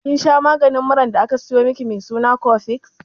Kin masha maganin muran da aka sayo miki mai suna cofex?